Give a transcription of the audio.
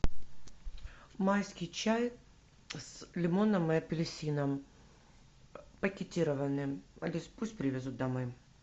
майский чай с лимоном и апельсином пакетированный алис пусть привезут домой